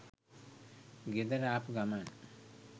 ගෙදර ආපු ගමන්